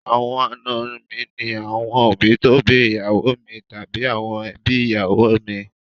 Àwọn àna mi ní àwọn òbí tó bí ìyàwó mi tàbí àwọn èbí ìyàwó mi.